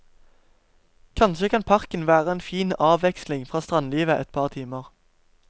Kanskje kan parken være en fin avveksling fra strandlivet et par timer.